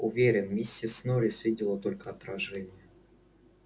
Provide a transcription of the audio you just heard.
уверен миссис норрис видела только отражение